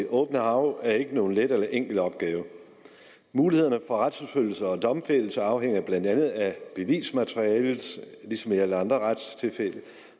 det åbne hav er ikke nogen let eller enkel opgave mulighederne for retsforfølgning og domfældelse afhænger blandt andet af bevismaterialet ligesom i alle andre retstilfælde